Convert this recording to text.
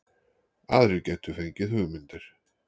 Aðrir gætu fengið hugmyndir